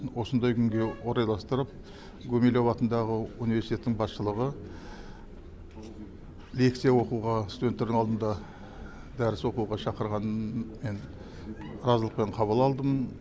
осындай күнге орайластырып гумилев атындағы университеттің басшылығы лекция оқуға студенттердің алдында дәріс оқуға шақырғанын мен разылықпен қабыл алдым